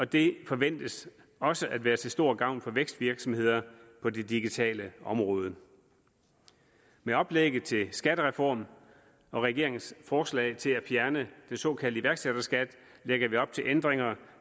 det forventes også at være til stor gavn for vækstvirksomheder på det digitale område med oplægget til skattereform og regeringens forslag til at fjerne den såkaldte iværksætterskat lægger vi op til ændringer